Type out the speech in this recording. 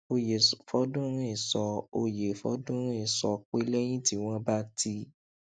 oyefodunrin sọ oyefodunrin sọ pé lẹyìn tí wọn bá ti